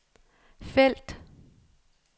felt